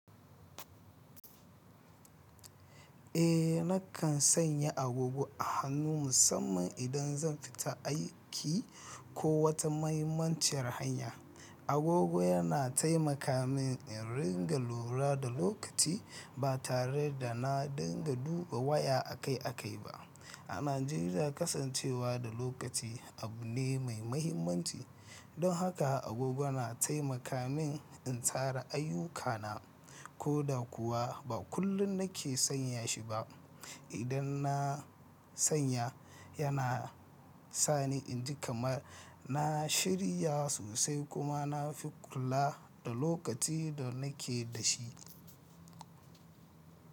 Eh, nakan sanya agogo a hannuna musamman idan zan fita aiki ko wata mahimmaciyar hanya. Agogo yana taimaka min in ringa lura da lokaci ba tare da na dinga duba waya akai-akai ba. A Najeriya, kasancewa da lokaci abu ne mai mahimmanci, don haka agogo na taimaka min in tsara ayyukana. Koda kuwa ba kullum nake sanya shi ba, idan na sanya yana sa ni in ji kamar na shirya sosai kuma na fi kula da lokaci da nake da shi.